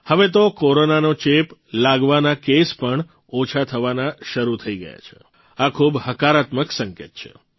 હવે તો કોરોનાનો ચેપ લાગવાના કેસ પણ ઓછા થવાના શરૂ થઇ ગયા છે આ ખૂબ હકારાત્મક સંકેત છે